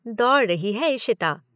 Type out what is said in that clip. दौड़ रही है इशिता।